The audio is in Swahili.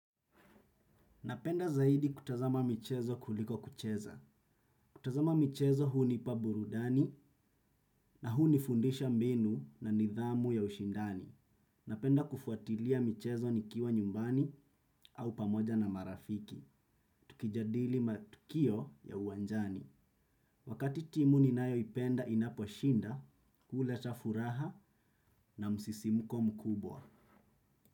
Napenda zaidi kutazama michezo kuliko kucheza. Kutazama michezo hunipa burudani na hunifundisha mbinu na nidhamu ya ushindani. Napenda kufuatilia michezo nikiwa nyumbani au pamoja na marafiki. Tukijadili matukio ya uwanjani. Wakati timu ninayoipenda inaposhinda, huleta furaha na msisimuko mkubwa.